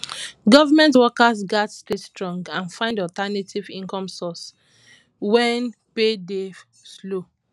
government workers gats stay strong and find alternative income sources wen pay dey slow